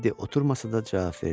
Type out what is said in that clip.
Tedd oturmasa da cavab verdi.